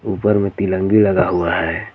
ऊपर में तिलंगी लगा हुआ है.